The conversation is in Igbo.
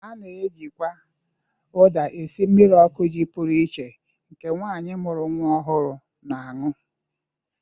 A na-ejikwa ụda esi mmiri ọkụ ji pụrụ iche nke nwaanyị mụru nwa ọhụrụ na-anụ.